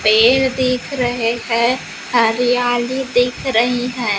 पेड़ दिख रहे हैं हरियाली दिख रही है।